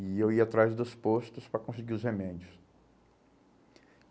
E eu ia atrás dos postos para conseguir os remédios.